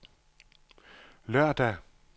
lørdag